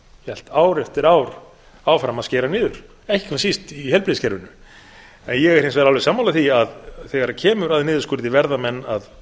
hélt ár eftir ár áfram að skera niður ekki hvað síst í heilbrigðiskerfinu ég er hins vegar alveg sammála því að þegar kemur að niðurskurði verða menn að